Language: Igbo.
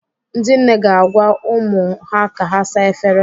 Ndị nne ga-agwa ụmụ ha ka ha saa efere.